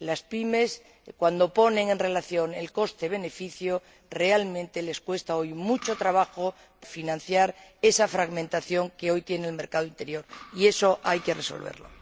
A las PYME, cuando ponen en relación el coste y el beneficio, realmente les cuesta mucho trabajo financiar esa fragmentación que hoy tiene el mercado interior, y eso hay que resolverlo.